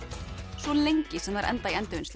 svo lengi sem þær enda í Endurvinnslunni